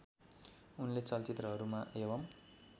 उनले चलचित्रहरूमा एवं